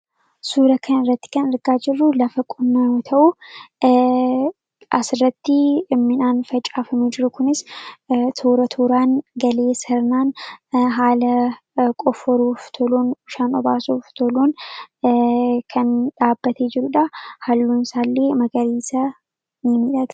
Suuraa kanarratti kan argaa jirru lafa qonna yoo ta'u, asirratti midhaan facaafamee jiru kunis toora tooraan galee sirnaan haala qofforuuf toluun kan obaasuuf toluun kan dhaabbatee jirudha. Halluun isaallee magariisa ni miidhaga.